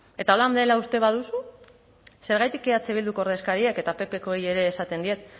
eta horrela dela uste baduzu zergatik eh bilduko ordezkariek eta ppkoei ere esaten diet